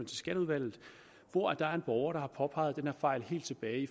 til skatteudvalget hvor der er en borger der har påpeget den her fejl helt tilbage i